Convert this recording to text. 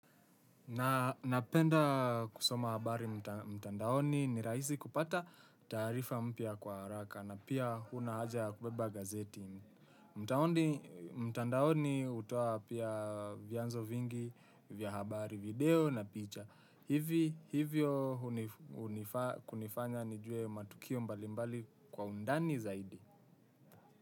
Na napenda kusoma habari mtandaoni ni rahisi kupata taarifa mpya kwa haraka na pia hakuna haja ya kubeba gazeti. Mtandaoni hutoa pia vyanzo vingi vya habari video na picha. Hivyo kunifanya nijue matukio mbalimbali kwa undani zaidi.